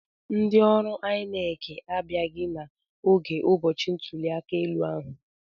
Ndị ọrụ INEC abịaghị n'oge ụbọchị ntuliaka ahụ.